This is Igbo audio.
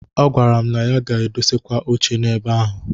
Ọ gwara m na ya ga-edosakwa oche n'ebe ahụ.